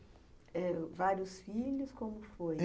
Vários filhos, como foi?